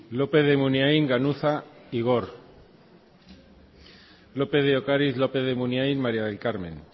lópez de munain ganuza igor lópez de ocariz lópez de munain maría del carmen